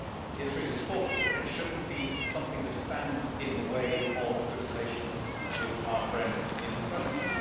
History is important, but it should not be something that stands in the way of good relations with our friends in the present.